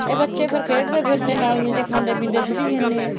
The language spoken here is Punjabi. ਇਹ ਬੱਚੇ ਫ਼ੇਰ ਖੇਡਦੇ ਫਿਰਦੇ ਨੇ ਨਾਲੀਆਂ ਚ ਖਾਂਦੇ ਪੀਂਦੇ ਫਿਰੀ ਜਾਂਦੇ ਹੈ